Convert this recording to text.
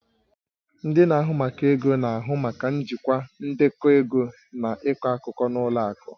Ndị na-ahụ maka ego na-ahụ maka njikwa ndekọ ego na ịkọ akụkọ na ụlọ akụ